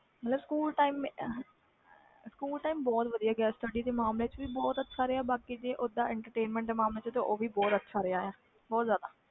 ਮਤਬਲ ਸਕੂਲ ਬਹੁਤ ਵਧੀਆ ਗਿਆ sutdy ਦੇ ਮਾਮਲੇ ਵਿਚ ਬਾਕੀ entertainment ਵਿਚ ਵੀ ਬਹੁਤ ਅੱਛਾ ਰਹੇ